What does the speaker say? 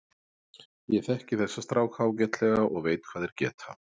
Ég þekki þessa stráka ágætlega og veit hvað þeir geta.